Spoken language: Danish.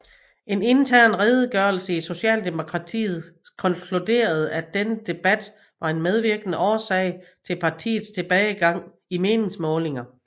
En intern redegørelse i Socialdemokratiet konkluderede at denne debat var en medvirkende årsag til partiets tilbagegang i meningsmålinger